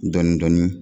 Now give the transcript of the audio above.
Dɔɔnin-dɔɔnin